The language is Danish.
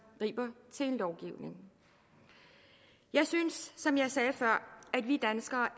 griber til lovgivning jeg synes som jeg sagde før at vi danskere